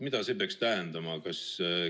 Mida see peaks tähendama?